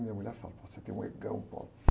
Minha mulher fala, você tem um egão.